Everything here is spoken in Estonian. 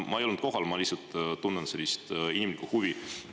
Ma ei olnud kohal, ma lihtsalt tunnen inimlikku huvi.